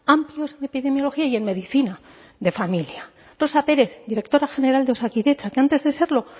amplios en epidemiología y en medicina de familia rosa pérez directora general de osakidetza que antes de serlo